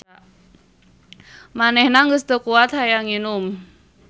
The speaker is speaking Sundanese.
Manehna geus teu kuat hayang nginum.